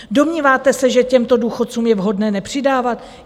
Domníváte se, že těmto důchodcům je vhodné nepřidávat?